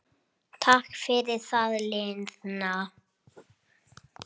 Takk fyrir það liðna.